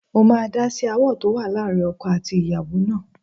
Mo máa dá sí aáwọ̀ tó wà láàrin ọkọ àti ìyàwó náà